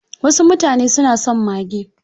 Wasu mutane suna son mage.